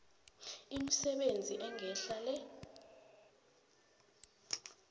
imisebenzi engehla le